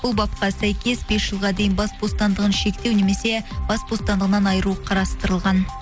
бұл бапқа сәйкес бес жылға дейін бас бостандығын шектеу немесе бас бостандығынан айыру қарастырылған